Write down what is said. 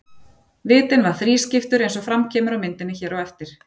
Vitinn var þrískiptur eins og fram kemur á myndinni hér á eftir.